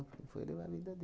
E foi levar a vida